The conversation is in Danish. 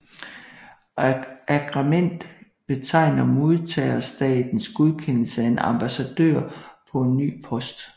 Agrement betegner modtagerstatens godkendelse af en ambassadør på en ny post